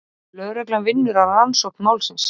Lögreglan vinnur að rannsókn málsins